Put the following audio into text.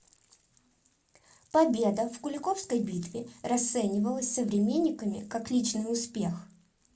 победа в куликовской битве расценивалась современниками как личный успех